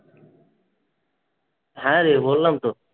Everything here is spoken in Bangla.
হ্যাঁ রে বললাম তো।